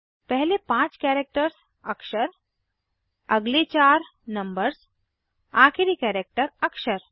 पहले पांच कैरेक्टर्स अक्षर अगले चार नंबर्स आखिरी कैरेक्टर अक्षर